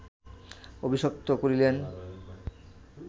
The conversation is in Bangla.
অভিশপ্ত করিলেন